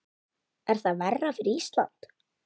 Er það verra fyrir Ísland?